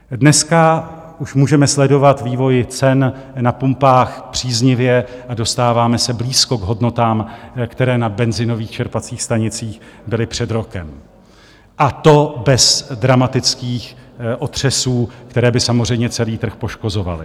Dneska už můžeme sledovat vývoj cen na pumpách příznivě a dostáváme se blízko k hodnotám, které na benzinových čerpacích stanicích byly před rokem, a to bez dramatických otřesů, které by samozřejmě celý trh poškozovaly.